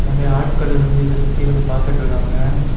ஒரே ஆட்கள் இருந்து இத சுத்தி இருந்து பாத்துட்டு இருக்காங்க.